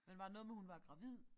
Men var der noget med hun var gravid?